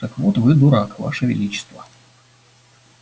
так вот вы дурак ваше величество